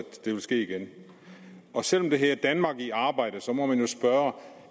det vil ske igen selv om det hedder danmark i arbejde må man jo spørge om